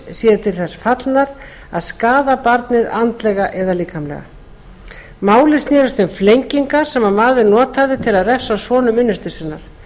séu til þess fallnar að skaða barnið andlega eða líkamlega málið snerist um flengingar sem maður notaði til að refsa sonum unnustu sinnar